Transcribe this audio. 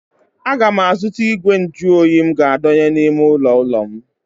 A ga m azụta igwe nju óyi m ga adọnye n'ime ụlọ ulo m